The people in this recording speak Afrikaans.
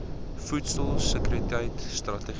voedsel sekuriteit strategie